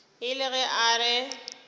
e le ge a re